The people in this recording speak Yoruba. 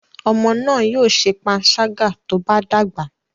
Ọmọ náà yóò ṣe panṣágà tó bá dàgbà.